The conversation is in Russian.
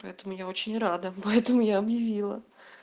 по этому я очень рада поэтому я объявила